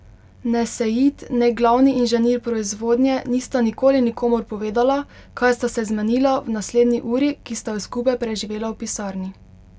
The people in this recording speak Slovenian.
Ne Sejid ne glavni inženir proizvodnje nista nikoli nikomur povedala, kaj sta se zmenila v naslednji uri, ki sta jo skupaj preživela v pisarni.